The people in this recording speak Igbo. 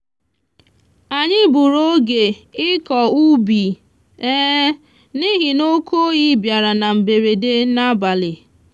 anyị gburu oge ịkọ ubi n'ihi oke oyi biara na mberede n'abalị.